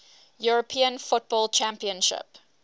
european football championship